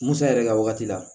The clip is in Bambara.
Musa yɛrɛ ka wagati la